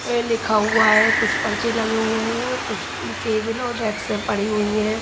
ए लिखा हुआ है कुछ पर्चे लगे हुए हैं कुछ टेबल और डेक्स सब पड़ी हुई है।